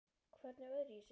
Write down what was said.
Hvernig öðruvísi?